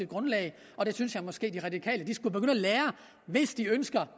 grundlag og det synes jeg måske de radikale skulle begynde at lære af hvis de ønsker